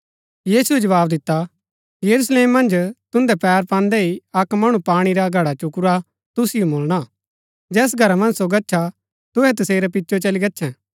यीशुऐ जवाव दिता यरूशलेम मन्ज तुन्दै पैर पान्दै हि अक्क मणु पाणी रा घडा चुकुरा तुसिओ मुळणा जैस घरा मन्ज सो गच्छा तुहै तसेरै पिचै चली गच्छैं